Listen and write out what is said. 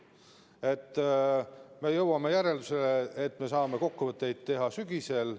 Me oleme jõudnud järeldusele, et me saame kokkuvõtteid teha sügisel.